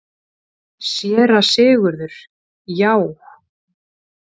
SÉRA SIGURÐUR: Já!